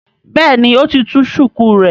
béèni o tí tú shuku rẹ.